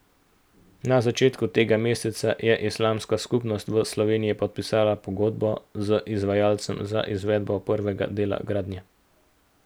Na začetku tega meseca je Islamska skupnost v Sloveniji podpisala pogodbo z izvajalcem za izvedbo prvega dela gradnje.